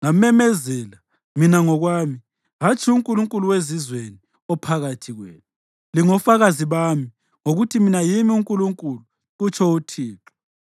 ngamemezela, mina ngokwami, hatshi unkulunkulu wezizweni ophakathi kwenu. Lingofakazi bami, ngokuthi mina yimi uNkulunkulu” kutsho uThixo.